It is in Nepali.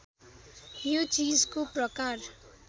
यो चीजको प्रकार